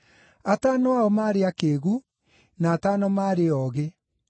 Atano ao maarĩ akĩĩgu, na atano maarĩ oogĩ.